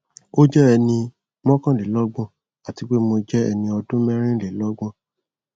o jẹ ẹni mọkanlelọgbọn ati pe mo jẹ ẹni ọdun mẹrinlelọgbọn